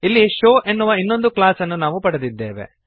ಇಲ್ಲಿ ಶೋವ್ ಎನ್ನುವ ಇನ್ನೊಂದು ಕ್ಲಾಸ್ ಅನ್ನು ನಾವು ಪಡೆದಿದ್ದೇವೆ